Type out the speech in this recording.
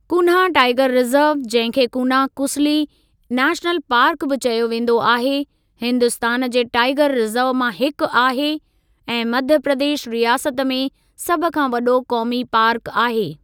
Cunha tiger reserve, जंहिं खे Kanha Kisli national park बि चयो वेंदो आहे, हिन्दुस्तान जे टाईगर रिजर्व मां हिकु आहे ऐं मध्य प्रदेश रियासत में सभ खां वॾो क़ौमी पार्क आहे।